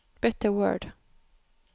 Bytt til Word